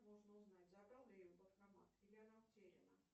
нужно узнать забрал ли ее банкомат или она утеряна